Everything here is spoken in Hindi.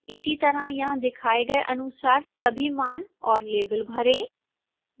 इसी तरह यहां दिखाए अनुसार सभी मान और लेबल भरें